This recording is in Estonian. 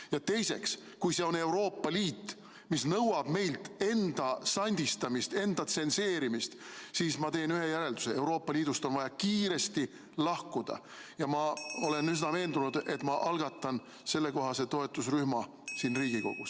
Ja teiseks, kui see on Euroopa Liit, mis nõuab meilt enda sandistamist, enda tsenseerimist, siis ma teen ühe järelduse: Euroopa Liidust on vaja kiiresti lahkuda ja ma olen üsna veendunud, et ma algatan sellekohase toetusrühma siin Riigikogus.